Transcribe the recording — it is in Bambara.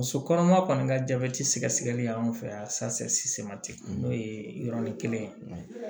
Muso kɔnɔma kɔni ka jabɛti sɛgɛsɛgɛli y'an fɛ yan n'o ye yɔrɔnin kelen ye